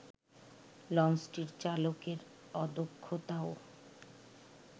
লঞ্চটির চালকের অদক্ষতাও